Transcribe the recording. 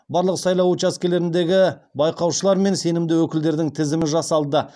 барлық сайлау учаскелеріндегі байқаушылар мен сенімді өкілдердің тізімі жасалды